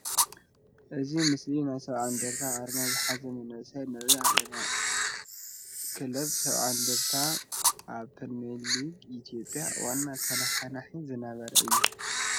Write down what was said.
ኣብዚ ምስሊ ናይ ሰብኣ እንድርታ ኣርማ ዝሓዘ መንእሰይ ንርኢ ኣለና፡፡ ክለብ ሰብኣ እንድርታ ኣብ ፕሪምየር ሊግ ኢትዮጵያ ዋና ተነሓናሒ ዝነበረ እዩ፡፡